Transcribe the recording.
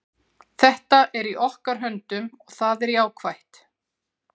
Þetta er í okkar höndum og það er jákvætt.